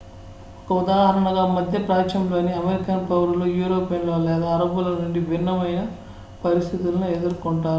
ఒక ఉదాహరణగా మధ్యప్రాచ్యంలోని అమెరికన్ పౌరులు యూరోపియన్ల లేదా అరబ్బుల నుండి భిన్నమైన పరిస్థితులను ఎదుర్కొంటారు